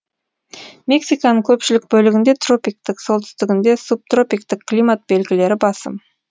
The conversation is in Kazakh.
мексиканың көпшілік бөлігінде тропиктік солтүстігінде субтропиктік климат белгілері басым